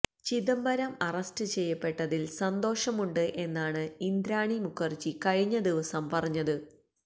Chidambaram arrest ചെയ്യപ്പട്ടതില് സന്തോഷമുണ്ട് എന്നാണ് ഇന്ദ്രാണി മുഖര്ജി കഴിഞ്ഞ ദിവസം പറഞ്ഞത്